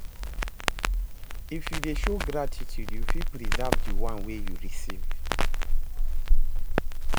If you de show gratitude you fit preserve di one wey you receive